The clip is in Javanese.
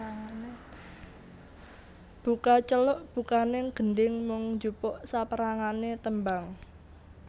Buka celuk bukaning gendhing mung njupuk saperangane tembang